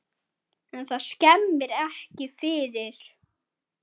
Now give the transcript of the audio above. En það skemmir ekki fyrir.